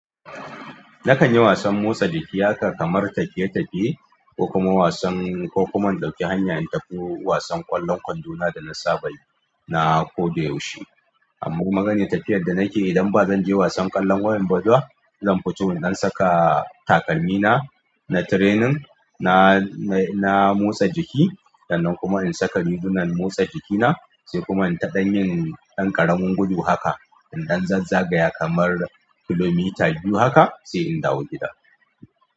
Nakanyi wasan motsa jiki haka kamar tafiye tafiye ko kuma wasan ko kuma na ɗauki haya na natafi wasan ƙwallon kwando na danasaba yi na koda yaushe amma maganiyar tafiyar da na ke idan ba zan je wasan ƙwallon wayan bazwa zan fito in ɗan saka takalmi na, na training, na, na motsa jiki sannan kuma in saka rigunan motsa jikina sai kuma in taɗa yin ɗan ƙaramin gudu haka in ɗan zazzagaya kamar kilomita biyu haka sai in dawo gida.